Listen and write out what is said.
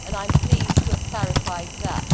I am pleased to have clarified that.